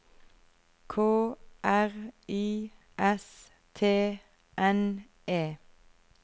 K R I S T N E